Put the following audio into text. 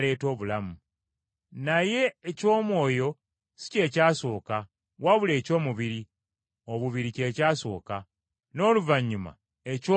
Naye eky’omwoyo si kye kyasooka, wabula eky’omubiri obubiri kye kyasooka, n’oluvannyuma eky’omwoyo ne kijja.